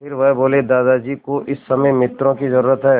फिर वह बोले दादाजी को इस समय मित्रों की ज़रूरत है